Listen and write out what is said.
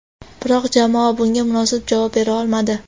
Biroq jamoa bunga munosib javob bera olmadi.